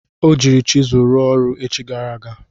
O jiiri chizụl ruo ọrụ echi gara aga.